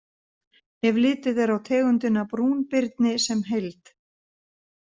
Ef litið er á tegundina brúnbirni sem heild.